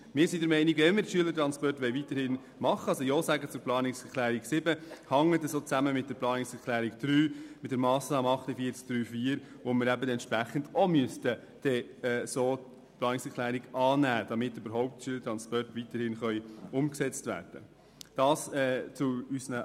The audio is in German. Wir sind der Meinung, es bestehe ein Zusammenhang mit der Planungserklärung 3, die wir wie auch die Planungserklärung 7 annehmen müssen, wenn wir die Schülertransporte weiterhin unterstützen wollen beziehungsweise die Schülertransporte umgesetzt werden sollen.